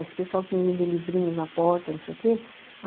Esse pessoal que me vende livrinhos na porta, não sei o quê.